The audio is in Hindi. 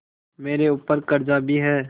मेरे ऊपर कर्जा भी है